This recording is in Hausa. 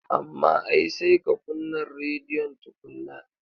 Amma ai sai ka kunnan rediyon tukunnan.